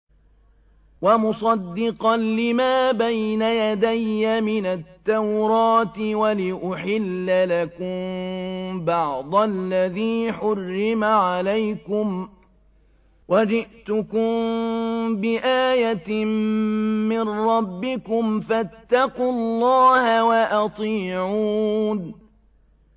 وَمُصَدِّقًا لِّمَا بَيْنَ يَدَيَّ مِنَ التَّوْرَاةِ وَلِأُحِلَّ لَكُم بَعْضَ الَّذِي حُرِّمَ عَلَيْكُمْ ۚ وَجِئْتُكُم بِآيَةٍ مِّن رَّبِّكُمْ فَاتَّقُوا اللَّهَ وَأَطِيعُونِ